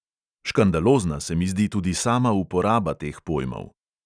Škandalozna se mi zdi tudi sama uporaba teh pojmov.